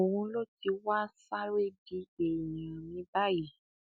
òun ló ti wáá sáré di èèyàn mi báyìí